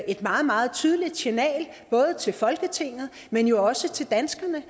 et meget meget tydeligt signal både til folketinget men jo også til danskerne